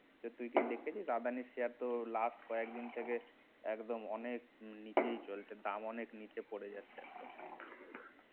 তুই কি দেখেছিস আদানি share তো last কয়েক দিন থেকে একদম অনেক নিচেই চলছে দাম অনেক পড়ে গেছে